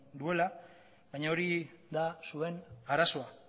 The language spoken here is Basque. duela baina hori da zuen arazoa